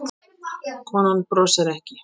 Konan brosir ekki.